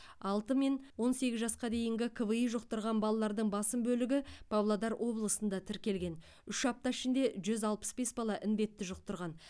алтымен он сегіз жасқа дейінгі кви жұқтырған балалардың басым бөлігі павлодар облысында тіркелген үш апта ішінде жүз алпыс бес бала індетті жұқтырған